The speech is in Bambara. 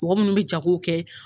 Mɔgɔ munnu bi jago kɛ .